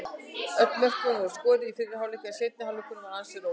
Öll mörkin voru skoruð í fyrri hálfleik en seinni hálfleikurinn var ansi rólegur.